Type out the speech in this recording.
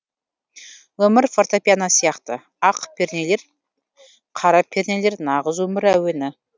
өмір фортепиано сияқты ақ пернелер қара пернелер нағыз өмір әуені